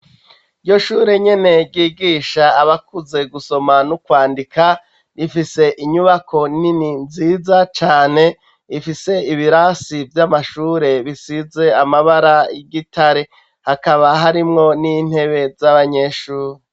Iryo shure nyene ryigisha abakuze gusoma nu kwandika rifise inyubako nini nziza cane ifise ibirasi vy'amashure bisize amabara y'igitare hakaba harimwo n'intebe z'abanyeshure